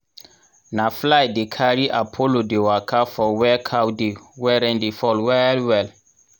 na fly dey carry apollo dey waka for where cow dey when rain dey fall well well